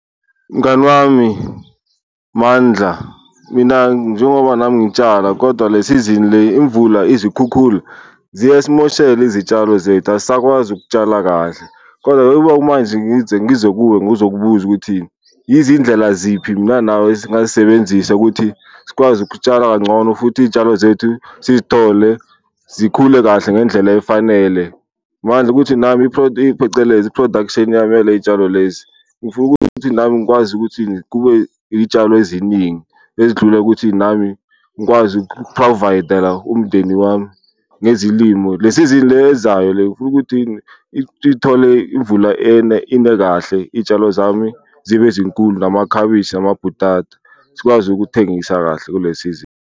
Mngani wami Mandla, mina njengoba nami ngitshala kodwa le sizini le imvula, izikhukhula ziyasimoshela izitshalo zethu, asisakwazi ukutshala kahle. Kodwa-ke ukuba manje ngize ngize kuwe ngizokubuza ukuthi izindlela ziphi mina nawe esingazisebenzisa ukuthi sikwazi ukutshala kangcono futhi iy'tshalo zethu sizithole zikhule kahle ngendlela efanele. Mandla ukuthi nami phecelezi i-production yami yale y'tshalo lezi ngifuna ukuthi nami ngikwazi ukuthi kube iy'tshalo eziningi ezidlule ukuthi nami ngikwazi uku-provide-la umndeni wami ngezilimo. Le sizini le ezayo le ngifuna ukuthi ithole imvula ine kahle iyitshalo zami zibe zinkulu, amakhabishi namabhutata sikwazi ukuthengisa kahle kule sizini.